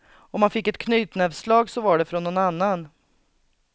Om han fick ett knytnävslag så var det från någon annan.